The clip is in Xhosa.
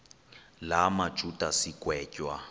la majuda sigwetywa